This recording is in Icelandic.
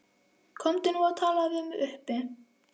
Komdu nú og talaðu við mig uppi.